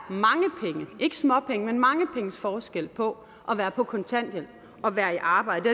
at ikke småpenge men mange penge til forskel på at være på kontanthjælp og være i arbejde